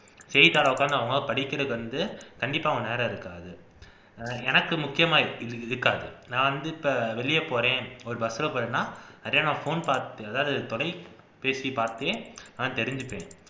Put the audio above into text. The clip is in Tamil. செய்தித்தாளை உக்கார்ந்து அவங்க படிக்கிறதுக்கு வந்து கண்டிப்பா நேரம் இருக்காது எனக்கு முக்கியமா இருக்காது நான் வந்து இப்ப வெளிய போறேன் ஒரு bus ல போறேன்னா அப்படியே phone பார்த் அதாவது தொலைபேசி பார்த்தே நான் தெரிஞ்சுப்பேன்